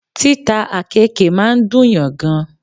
Títa àkéèke máa ń dùn yàn gan